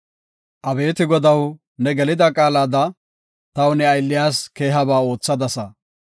Abeeti Godaw, ne gelida qaalada taw ne aylliyas keehaba oothadasa.